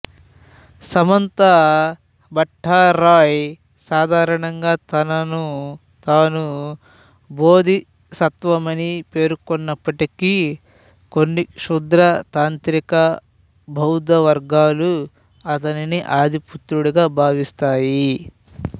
సమంతా భట్టారాయ్ సాధారణంగా తనను తాను బోధిసత్వమని పేర్కొన్నప్పటికీ కొన్ని క్షుద్ర తాంత్రిక బౌద్ధ వర్గాలు అతన్ని ఆదిపుత్రుడిగా భావిస్తాయి